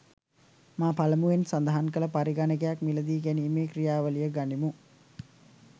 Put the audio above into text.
මා පළමුවෙන් සඳහන් කල පරිගණකයක් මිලදීගැනීමේ ක්‍රියාවලිය ගනිමු.